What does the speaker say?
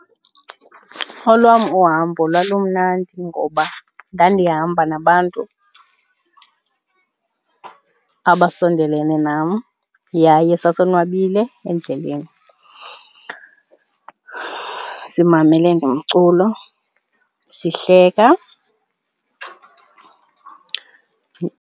Olwam uhambo lwam lumnandi ngoba ndandihamba nabantu abasondelene nam yaye sasonwabile endleleni, simamele nomculo sihleka.